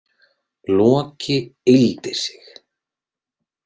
Loki yggldi sig.